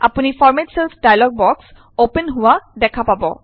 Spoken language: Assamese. আপুনি format cells dialog box open হোৱা দেখা পাব